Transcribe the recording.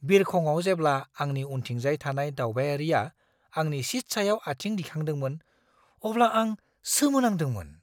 बिरखंआव जेब्ला आंनि उनथिंजाय थानाय दावबायारिया आंनि सिट सायाव आथिं दिखांदोंमोन, अब्ला आं सोमोनांदोंमोन!